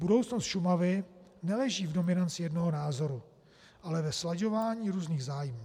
Budoucnost Šumavy neleží v dominanci jednoho názoru, ale ve slaďování různých zájmů.